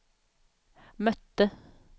mötte